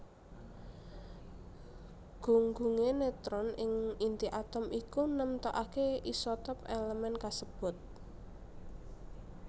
Gunggungé netron ing inti atom iku nemtokaké isotop èlemèn kasebut